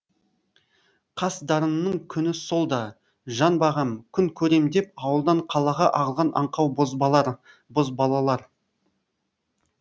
қас дарынның күні сол да жан бағам күн көрем деп ауылдан қалаға ағылған аңқау бозбалалар